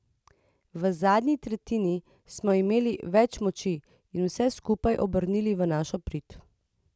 V zadnji tretjini smo imeli več moči in vse skupaj obrnili v naš prid.